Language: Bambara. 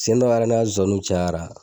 Siyɛn dɔra ne ka zonzaniw cayara.